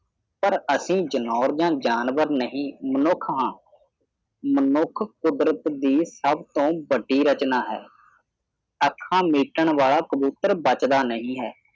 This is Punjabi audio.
ਪਰ ਅਸੀਂ ਜਨੌਰ ਜਾ ਜਾਨਵਰ ਨਹੀਂ ਮਨੁੱਖ ਹਾਂ ਮਨੁੱਖ ਕੁਦਰਤ ਦੀ ਸਭ ਤੋਂ ਵੱਡੀ ਰਚਨਾ ਹੈ ਅੱਖਾਂ ਮੀਚਣ ਵਾਲਾ ਕਬੂਤਰ ਬਚਦਾ ਨਹੀਂ ਹੈ